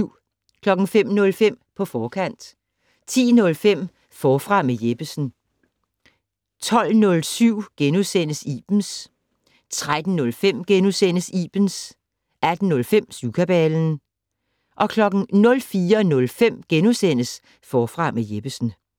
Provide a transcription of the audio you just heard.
05:05: På forkant 10:05: Forfra med Jeppesen 12:07: Ibens * 13:05: Ibens * 18:05: Syvkabalen 04:05: Forfra med Jeppesen *